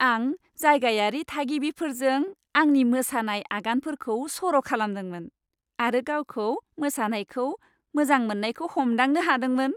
आं जायगायारि थागिबिफोरजों आंनि मोसानाय आगानफोरखौ सर' खालामदोंमोन आरो गावखौ मोसानायखौ मोजां मोन्नायखौ हमदांनो हादोंमोन।